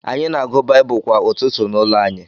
Anyị na-agụ Baịbụl kwa ụtụtụ n’ụlọ anyị.